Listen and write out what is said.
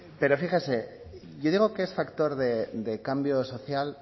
pero fíjese yo digo que es factor de cambio social